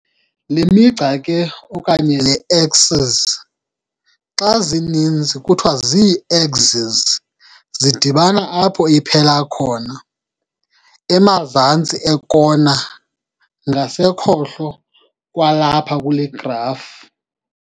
Le migca ke, okanye le-"axes", xa zininzi kuthiwa zii-axis, zidibana apho iphela khona, emazantsi ekona ngasekhohlo kwalapha kule graf.